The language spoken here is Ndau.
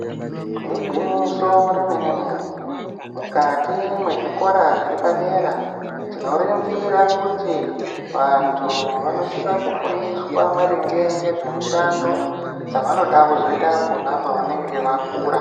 Igwinyiso remene-mene, mukati mwezvikora zviri padera, tinoringira kuti vantu vanosisa kufundiswa maringe ngezvemishando dzavanoda kuzoita pona pavanenge vakura.